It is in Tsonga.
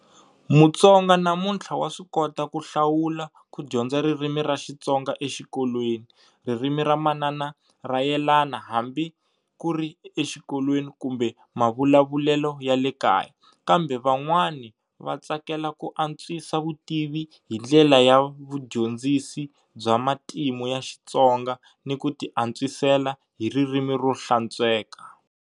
Mutsonga namuntlha wa swi kota ku hlawula ku dyondza ririmi ra Xitsonga exikolweni, ririmi ra manana ra yelana hambi kuri exikolweni kumbe mavulavulelo ya le kaya, kambe van'wani va tsakela ku antswisa vutivi hi ndlela ya vudyondzisi bya matimu ya Xitsonga ni ku ti antswisela hi ririmi ro hlantsweka.